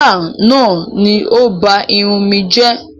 Báábà náà ni ó ba irun mi jẹ́